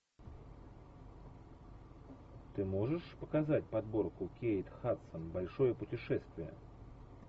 ты можешь показать подборку кейт хадсон большое путешествие